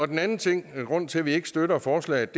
den anden ting og grunden til at vi ikke støtter forslaget